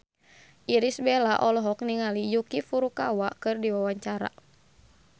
Irish Bella olohok ningali Yuki Furukawa keur diwawancara